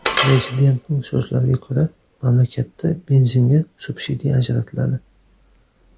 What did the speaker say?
Prezidentning so‘zlariga ko‘ra, mamlakatda benzinga subsidiya ajratiladi.